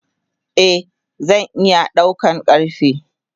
Eh zan iya daukan karfe.